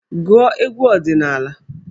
Gụọ egwu ọdịnaala!